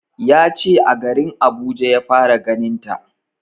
Ya ce a garin Abuja ya fara ganin ta